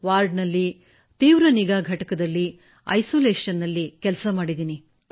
ವಾರ್ಡಲ್ಲಿ ತೀವ್ರ ನಿಗಾ ಘಟಕದಲ್ಲಿ ಐಸೋಲೇಷನ್ ನಲ್ಲಿ ಕೆಲಸ ಮಾಡಿದ್ದೇನೆ ಸರ್